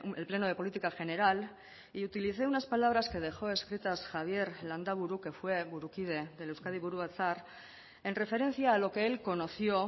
el pleno de política general y utilicé unas palabras que dejó escritas javier landaburu que fue burukide del euskadi buru batzar en referencia a lo que él conoció